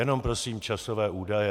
Jenom prosím časové údaje.